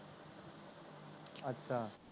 ਅੱਛਾ